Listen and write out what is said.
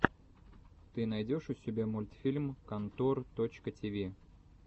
ты найдешь у себя мультфильм контор точка ти ви